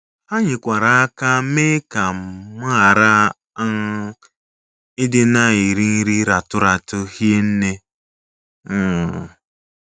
“ Ha nyekwara aka mee ka m ghara um ịdị na - eri nri ratụ ratụ hie nne um.